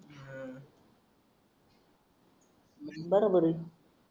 बरोबर आहे